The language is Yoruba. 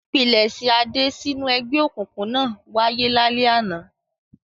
Ìpilẹ̀ṣẹ̀ Adé sínú ẹgbẹ́ òkùnkùn náà wáyé lálẹ́ àná.